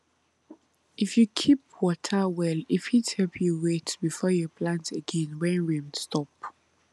if you keep water well e fit help you wait before you plant again when rain stop